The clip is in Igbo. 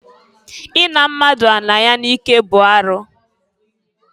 I na mmadụ ala ya n'ike bụ arụ.